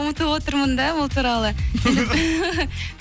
ұмытып отырмын да ол туралы